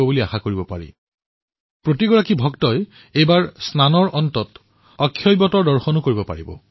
এইবাৰ দৰ্শনাৰ্থীসকলে সংগমত পবিত্ৰ স্নানৰ পিছত অক্ষয়বটৰ পুণ্য দৰ্শনো কৰিব পাৰিব